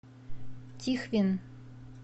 тихвин